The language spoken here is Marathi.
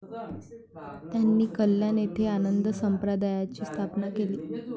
त्यांनी कल्याण येथे आनंद संप्रदायाची स्थापना केली.